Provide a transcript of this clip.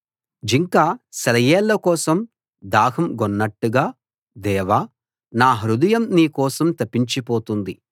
జింక సెలయేళ్ల కోసం దాహం గొన్నట్టుగా దేవా నా హృదయం నీ కోసం తపించిపోతోంది